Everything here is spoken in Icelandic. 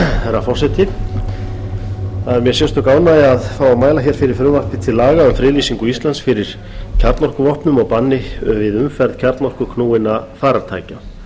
herra forseti það er mér sérstök ánægja að fá að mæla fyrir frumvarpi til laga um friðlýsingu íslands fyrir kjarnorkuvopnum og banni við umferð kjarnorkuknúinna farartækja